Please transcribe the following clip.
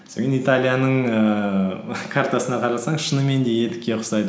италияның ііі картасына қарасаң шынымен де етікке ұқсайды